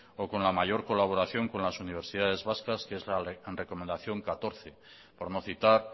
o con la mayor colaboración con las universidades vascas que es la recomendación catorce por no citar